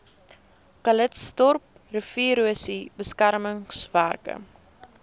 calitzdorp riviererosie beskermingswerke